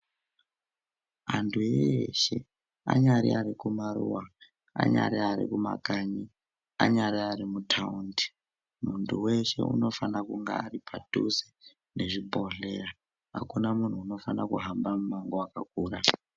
Antu eshe anyari arikumaruwa, anyari arikumakanyi, anyari arimutaundi muntu weshe anofana kunga aripadhuze nezvibhohleya. Hakuna munhu unofana kuhamba mumango wakakura.